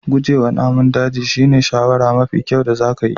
Guje wa namun daji shine shawarar mafi kyau da zaka yi.